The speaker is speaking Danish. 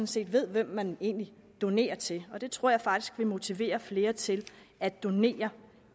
set ved hvem man egentlig donerer til og det tror jeg faktisk vil motivere flere til at donere